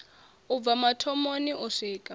u bva mathomoni u swika